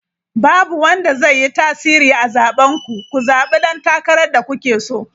Babu wanda zai yi tasiri a zaben ku, ku zabi dan takarar da kuke so!